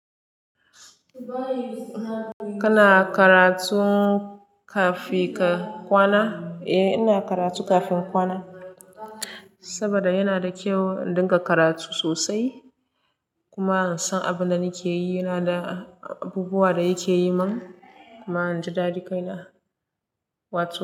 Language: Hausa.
Kana karatun kafin ka kwana? Eh ina karatu kafin kwana saboda yana da kyau in dinga karatu sosai kuma an san abin da nake yi yana da abubuwan da yake yi man kuma in ji daɗi kai na. Wato.